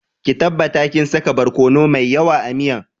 Ki tabbata kin saka borkono mai yawa a miyan